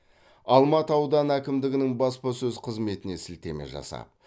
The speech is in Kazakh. алматы ауданы әкімдігінің баспасөз қызметіне сілтеме жасап